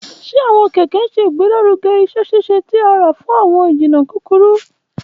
Ṣe awọn kẹkẹ ṣe igbelaruge iṣẹ-ṣiṣe ti ara fun awọn ijinna kukuru?